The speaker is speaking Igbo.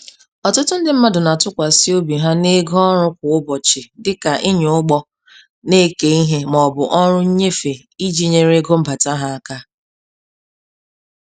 Ọtụtụ ndị mmadụ na-atụkwasị obi ha n'ego ọrụ kwa ụbọchị dịka ịnya ụgbọ na-eke ihe ma ọ bụ ọrụ nnyefe iji nyere ego mbata ha aka.